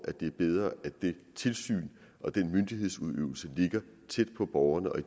det er bedre at det tilsyn og den myndighedsudøvelse ligger tæt på borgerne og